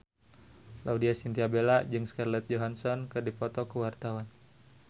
Laudya Chintya Bella jeung Scarlett Johansson keur dipoto ku wartawan